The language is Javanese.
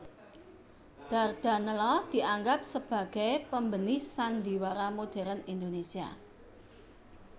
Dardanella dianggap sebagai pembenih sandiwara modern Indonesia